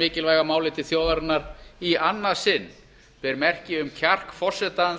mikilvæga máli til þjóðarinnar í annað sinn ber merki um kjark forseta